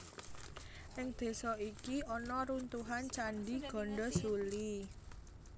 Ing désa iki ana runtuhan Candhi Gandasuli